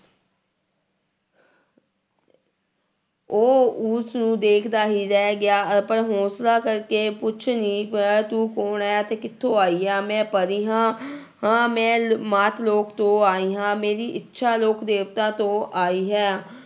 ਉਹ ਉਸਨੂੰ ਦੇਖਦਾ ਹੀ ਰਹਿ ਗਿਆ, ਆਪਣਾ ਹੌਂਸਲਾ ਕਰਕੇ ਪੁੱਛ ਹੀ ਤੂੰ ਕੌਣ ਹੈ ਤੇ ਕਿੱਥੋਂ ਆਈ ਹੈ, ਮੈਂ ਪਰੀ ਹਾਂ ਹਾਂ ਮੈਂ ਮਾਤ ਲੋਕ ਤੋਂ ਆਈ ਹਾਂ, ਮੇਰੀ ਇੱਛਾ ਲੋਕ ਦੇਵਤਾ ਤੋਂ ਆਈ ਹੈ